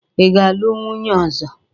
Ị ga-alụ nwunye ọzọ?